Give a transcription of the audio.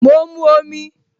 Mo ń mu omi